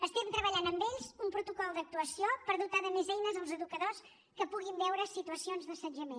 estem treballant amb ells un protocol d’actuació per dotar de més eines els educadors que puguin veure situacions d’assetjament